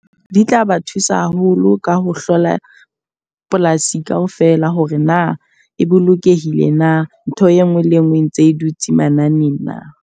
Di tla ba thusa haholo ka ho hlola polasi ka ofela hore na e bolokehile na. Ntho e nngwe le e nngwe e ntse e dutse manane na.